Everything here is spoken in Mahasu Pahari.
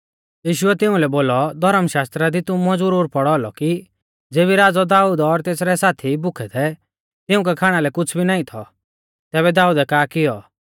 यीशुऐ तिउंलै बोलौ धौर्म शास्त्रा दी तुमुऐ ज़ुरुर पौढ़ौ औलौ कि ज़ेबी राज़ौ दाऊद और तेसरै साथी भुखै थै तिउंकै खाणा लै कुछ़ भी नाईं थौ तैबै दाऊदै का कियौ